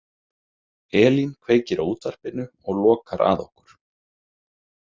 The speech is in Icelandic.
Elín kveikir á útvarpinu og lokar að okkur.